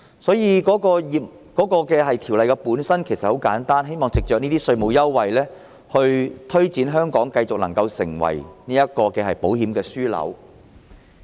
所以，我認為《條例草案》的目的很簡單，就是希望藉着這些稅務優惠，推動香港繼續成為保險業樞紐。